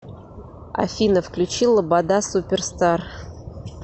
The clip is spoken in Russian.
афина включи лобода суперстар